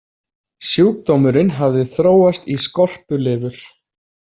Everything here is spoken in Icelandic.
Sjúkdómurinn hafði þróast í skorpulifur.